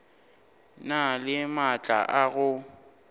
na le maatla a go